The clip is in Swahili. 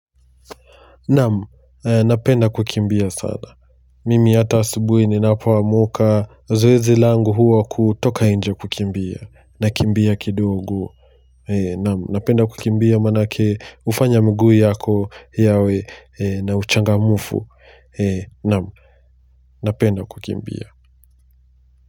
Naam napenda kukimbia sana mimi hata asubuhi ninapoamka zoezi langu huwa kutoka nje kukimbia nakimbia kidogo naam napenda kukimbia manake ufanya mguu yako yawe na uchangamfu Namu, napenda kukimbia.